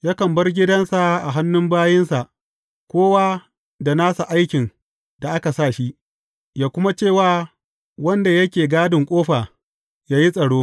Yakan bar gidansa a hannun bayinsa, kowa da nasa aikin da aka sa shi, yă kuma ce wa wanda yake gadin ƙofa, yă yi tsaro.